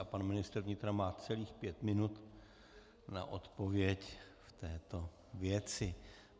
A pan ministr vnitra má celých pět minut na odpověď v této věci.